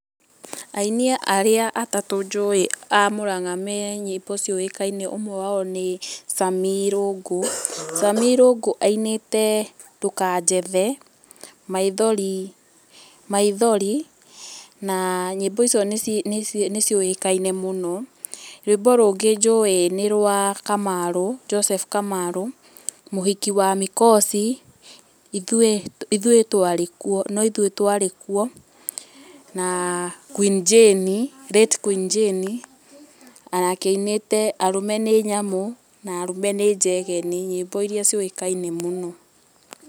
Aini arĩa atatũ njũĩ a Mũranga me nyĩmbo ciũĩkaine nĩ Sammy Irũngũ. Sammy Irũngũ ainĩte ndũkajethe, maithori na nyĩmbo icio nĩ ciũĩkaine mũno. Rwĩmbo rũngĩ njũĩ nĩ rwa Kamarũ, Joseph Kamarũ, mũhiki wa mikosi, no ithuĩ twarĩ kuo na Queen Jane, Late Queen Jane, onake ainĩte arũme nĩ nyamũ na arũme nĩ njegeni, nyĩmbo iria ciũĩkaine mũno.